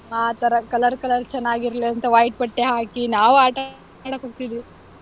ಆ ತರ color color ಚೆನಾಗಿರ್ಲಿ ಅಂತ white ಬಟ್ಟೆ ಹಾಕಿ, ನಾವೂ ಆಟಾಡಕ್ಹೊಗ್ತಿದ್ವಿ.